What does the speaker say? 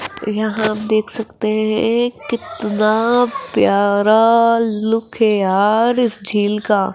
यहां आप देख सकते हैं कितना प्यारा लुक है यार इस झील का।